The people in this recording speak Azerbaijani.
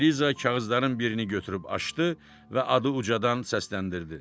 Eliza kağızların birini götürüb açdı və adı ucadan səsləndirdi.